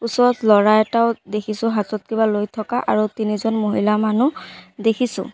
ওচৰত ল'ৰা এটাও দেখিছোঁ হাতত কিবা লৈ থকা আৰু তিনিজন মহিলা মানুহ দেখিছোঁ।